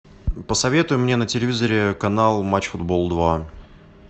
посоветуй мне на телевизоре канал матч футбол два